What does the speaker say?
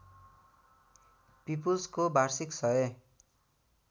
पिपुल्सको वार्षिक १००